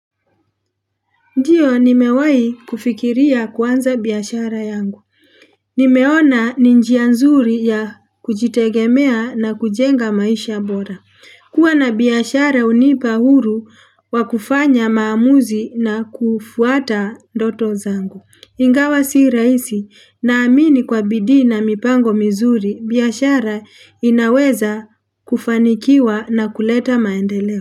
Ndiyo, nimewahi kufikiria kuanza biashara yangu. Nimeona ni njia nzuri ya kujitegemea na kujenga maisha bora. Kuwa na biashara hunipa uhuru wakufanya maamuzi na kufuata ndoto zangu. Ingawa si rahisi, naamini kwa bidii na mipango mizuri, biashara inaweza kufanikiwa na kuleta maendeleo.